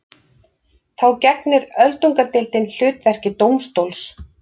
Þá gegnir öldungadeildin hlutverki dómstóls.